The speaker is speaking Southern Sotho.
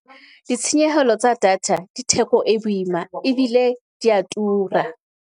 Ditshenyehelo tsa data di theko e boima ebile dia tura.